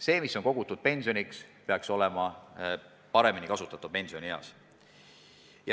Raha, mis on kogutud pensioniks, peaks olema pensionieas paremini kasutatav.